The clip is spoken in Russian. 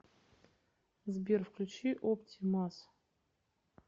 сбер включи опти мас